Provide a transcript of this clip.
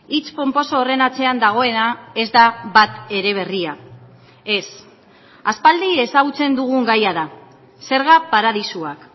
hitz ponposo horren atzean dagoena ez da bat ere berria ez aspaldi ezagutzen dugun gaia da zerga paradisuak